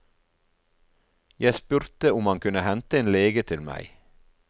Jeg spurte om han kunne hente en lege til meg.